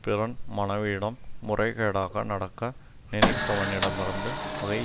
பிறன் மனைவியிடம் முறைகேடாக நடக்க நினைப்பவனிடமிருந்து பகை